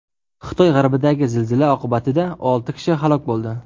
Xitoy g‘arbidagi zilzila oqibatida olti kishi halok bo‘ldi.